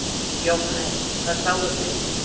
Jóhannes: Hvað sáuð þið?